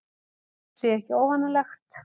Þetta sé ekki óvanalegt